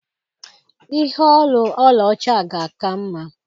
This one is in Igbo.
Ihe olu ọlaọcha ga-aka mma.